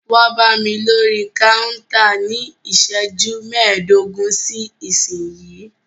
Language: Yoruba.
Wá bámi lórí kántà ní iṣẹ́jú mẹdogun sí ìsínyìí!